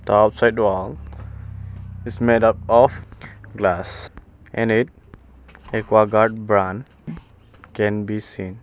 The outside the door is made up of glass in it aquaguard brand can be seen.